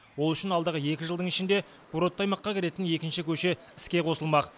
ол үшін алдағы екі жылдың ішінде курортты аймаққа кіретін екінші көше іске қосылмақ